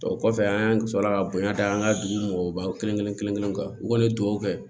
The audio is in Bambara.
O kɔfɛ an sɔrɔla ka bonya da an ka dugu mɔgɔw kelen kelen kelen kelen kelen kan u kɔni ye dugawu kɛ